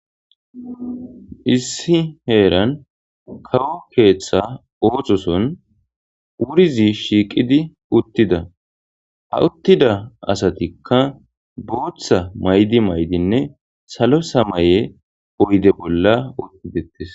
Issi heeran kawo keeththa ooxoson wurizi shiiqidi uttida ha uttida asatikka booththa maydi maydinne salo samaye oyde bolla ottidettes.